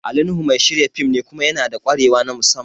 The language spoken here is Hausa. Ali Nuhu mai shirya fim ne kuma yanada ƙwarewa na musamman